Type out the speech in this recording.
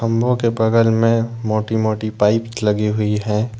मुंह के बगल में मोटी मोटी पाइप लगी हुई है।